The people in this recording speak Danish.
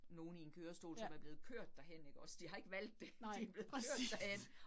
Nogen i en kørestol, som er blevet kørt derhen ikke også, de har ikke valgt det, de blevet kørt derhen